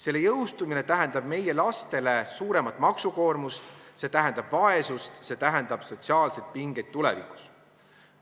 Selle jõustumine tähendab meie lastele suuremat maksukoormust, see tähendab vaesust, see tähendab sotsiaalseid pingeid tulevikus.